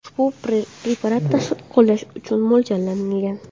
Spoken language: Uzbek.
Ushbu preparat tashqi qo‘llash uchun mo‘ljallangan.